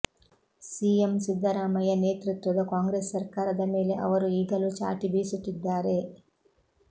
CM Siddaramaiah ನೇತೃತ್ವದ ಕಾಂಗ್ರೆಸ್ ಸರ್ಕಾರದ ಮೇಲೆ ಅವರು ಈಗಾಲೂ ಚಾಟಿ ಬೀಸುತ್ತಿದ್ದಾರೆ